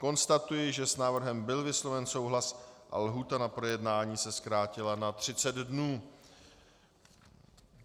Konstatuji, že s návrhem byl vysloven souhlas a lhůta na projednání se zkrátila na 30 dnů.